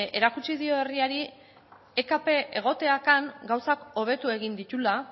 erakutsi dio herriari ekp egoteak han gauzak hobetu egin dituela